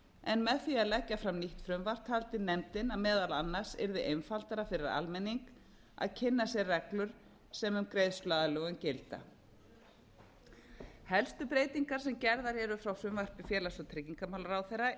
en með því að leggja fram nýtt frumvarp taldi nefndin að meðal annars yrði einfaldara fyrir almenning að kynna sér reglur sem um greiðsluaðlögun gilda helstu breytingar sem gerðar eru frá frumvarpi félags og tryggingamálaráðherra